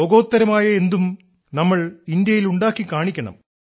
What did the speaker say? ലോകോത്തരമായ എന്തും നമ്മൾ ഇന്ത്യയിൽ ഉണ്ടാക്കി കാണിക്കണം